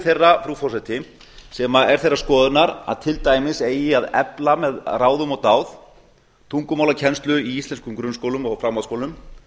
þeirra frú forseti sem er þeirrar skoðunar að til dæmis eigi að efla með ráðum og dáð tungumálakennslu í íslenskum grunnskólum og framhaldsskólum